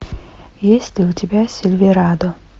есть ли у тебя сильверадо